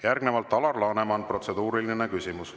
Järgnevalt Alar Laneman, protseduuriline küsimus.